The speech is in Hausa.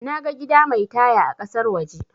Naga gida mai taya a kasar waje